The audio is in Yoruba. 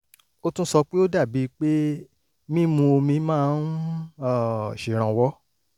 ó tún sọ pé ó dàbí pé mímu omi máa ń um ṣèrànwọ́